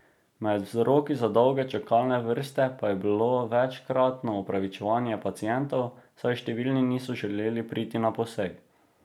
Med vzroki za dolge čakalne vrste pa je bilo večkratno opravičevanje pacientov, saj številni niso želeli priti na poseg.